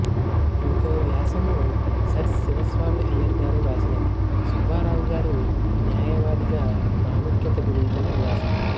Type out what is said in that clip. ఇంకోవ్యాసము Sir Sivaswami Iyer గారు వ్రాసినది సుబ్బారావుగారు న్యాయవాదిగా ప్రాముఖ్యత గురించిన వ్యాసం